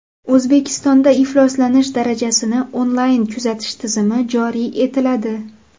O‘zbekistonda ifloslanish darajasini onlayn kuzatish tizimi joriy etiladi.